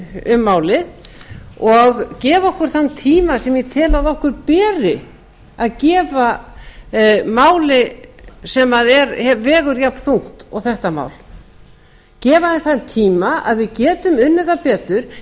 um málið og gefa okkur þann tíma sem ég tel að okkur beri að gefa máli sem vegur jafn þungt og þetta mál gefa því þann tíma að við getum unnið það betur